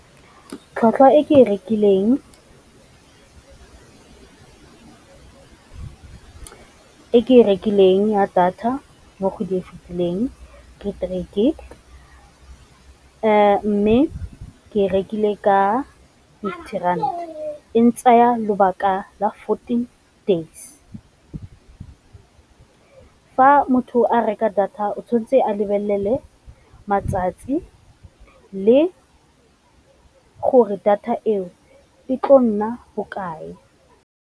Tlhwatlhwa e ke e rekileng , e ke e rekileng ya data mo go di e fitileng ke three gig, mme ke rekile ka fifty rand e ntsaya lobaka la fourteen days. Fa motho a reka data o tshwanetse a lebelele matsatsi le gore data eo e tlo nna bokae.